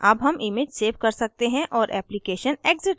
अब हम image save कर सकते हैं और application exit करें